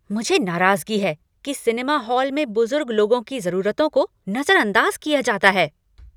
मुझे नाराजगी है कि सिनेमा हॉल में बुजुर्ग लोगों की जरूरतों को नजरअंदाज किया जाता है।